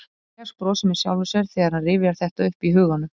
Elías brosir með sjálfum sér þegar hann rifjar þetta upp í huganum.